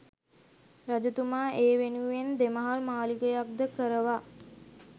රජතුමා ඒ වෙනුවෙන් දෙමහල් මාලිගයක් ද කරවා